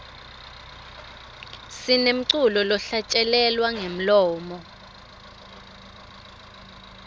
sinemculo lohlatjelelwa ngemlomo